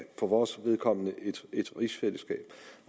for vores vedkommende et rigsfællesskab